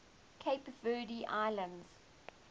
cape verde islands